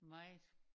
Meget